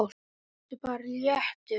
Vertu bara léttur!